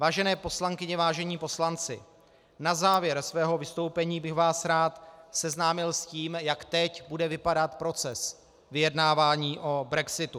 Vážené poslankyně, vážení poslanci, na závěr svého vystoupení bych vás rád seznámil s tím, jak teď bude vypadat proces vyjednávání o brexitu.